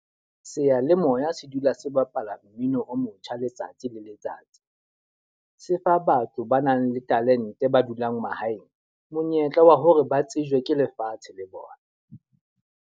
Seyalemoya se dula se bapala mmino o motjha letsatsi le letsatsi. Se fa batho ba nang le talente ba dulang mahaeng, monyetla wa hore ba tsejwe ke lefatshe le bona.